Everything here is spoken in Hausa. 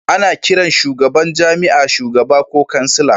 Ana kiran shugaban jami'a shugaba ko kansila